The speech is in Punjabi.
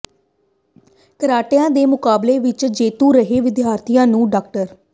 ਕਰਾਟਿਆਂ ਦੇ ਮੁਕਾਬਲੇ ਵਿਚ ਜੇਤੂ ਰਹੇ ਵਿਦਿਆਰਥੀਆਂ ਨੂੰ ਡਾ